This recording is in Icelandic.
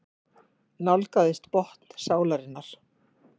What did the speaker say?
Nálgaðist botn sálarinnar.